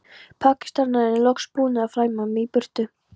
Pakistanarnir loks búnir að flæma mig í burtu.